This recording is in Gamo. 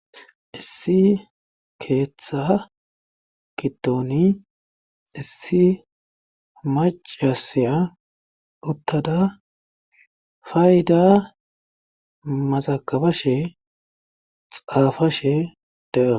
Issi keetta giddoni issi maccasiya uttada faydaa mazaggabashe xaafashe de7awu.